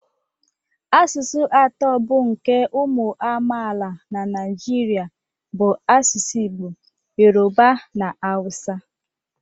Asụsụ atọ bụ nke ụmụ amaala na Naịjirịa bụ asụsụ Igbo, Yoruba na Hausa